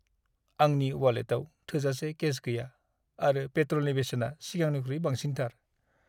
आंनि वालेटाव थोजासे केश गैया आरो पेट्रलनि बेसेना सिगांनिख्रुइ बांसिनथार।